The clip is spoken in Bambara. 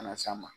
Kana s'a ma